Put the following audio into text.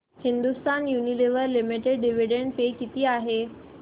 Hindustan Unilever limited dividend pay किती आहे